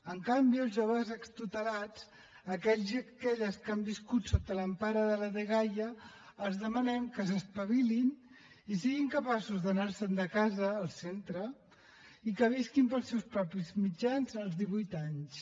en canvi als joves extutelats aquells i aquelles que han viscut sota l’empara de la dgaia els demanem que s’espavilin i siguin capaços d’anar se’n de casa el centre i que visquin pels seus propis mitjans als divuit anys